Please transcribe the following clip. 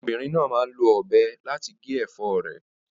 Ọmọbìnrin náà máa ń lo ọ̀bẹ láti gé ẹ̀fọ́ rẹ̀.